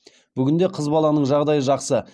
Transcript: бүгінде қыз баланың жағдайы жақсы